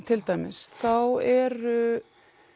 til dæmis þá eru